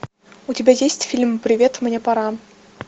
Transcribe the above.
у тебя есть фильм привет мне пора